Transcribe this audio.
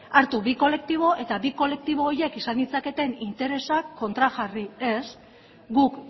hartu bi kolektibo eta bi kolektibo horiek izan ditzaketen interesak kontrajarri ez guk